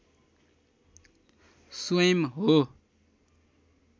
स्वयम् हो